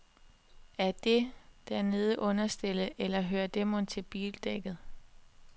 Er dét dernede understellet, eller hører det mon med til bildækket?